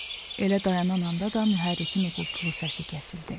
Elə dayanan anda da mühərrikin uğultulu səsi kəsildi.